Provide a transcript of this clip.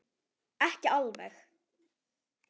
Ekki alveg.